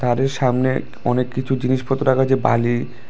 বাড়ির সামনে অনেককিছু জিনিসপত্র রাখা আছে বালি--।